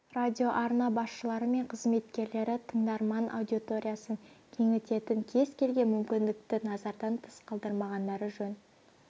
радиоарна басшылары мен қызметкерлері тыңдарман аудиториясын кеңітетін кез келген мүмкіндікті назардан тыс қалдырмағандары жөн